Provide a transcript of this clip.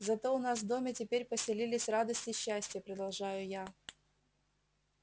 зато у нас в доме теперь поселились радость и счастье продолжаю я